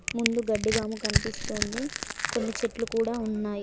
ముందు గడ్డివాము కనిపిస్తోంది కొన్ని చెట్లు కూడా ఉన్నాయ్.